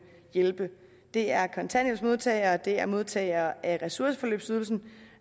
hjælpe det er kontanthjælpsmodtagere det er modtagere af ressourceforløbsydelsen